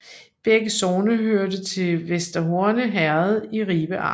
Begge sogne hørte til Vester Horne Herred i Ribe Amt